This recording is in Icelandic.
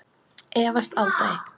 Efast aldrei.